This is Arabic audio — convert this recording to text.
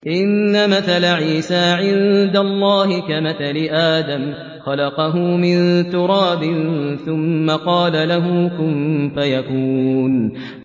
إِنَّ مَثَلَ عِيسَىٰ عِندَ اللَّهِ كَمَثَلِ آدَمَ ۖ خَلَقَهُ مِن تُرَابٍ ثُمَّ قَالَ لَهُ كُن فَيَكُونُ